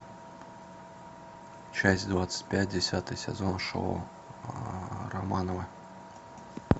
часть двадцать пять десятый сезон шоу романовы